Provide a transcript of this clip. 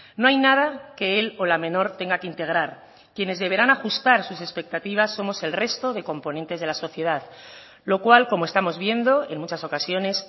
no hay nada que el o la menor tenga que integrar quienes deberán ajustar sus expectativas somos el resto de componentes de la sociedad lo cual como estamos viendo en muchas ocasiones